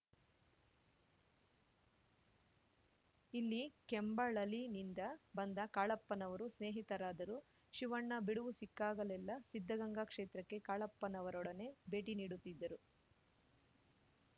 ಇಲ್ಲಿ ಕೆಂಬಳಲಿನಿಂದ ಬಂದ ಕಾಳಪ್ಪನವರು ಸ್ನೇಹಿತರಾದರು ಶಿವಣ್ಣ ಬಿಡುವು ಸಿಕ್ಕಾಗಲೆಲ್ಲಾ ಸಿದ್ಧಗಂಗಾ ಕ್ಷೇತ್ರಕ್ಕೆ ಕಾಳಪ್ಪನವರೊಡನೆ ಭೇಟಿ ನೀಡುತ್ತಿದ್ದರು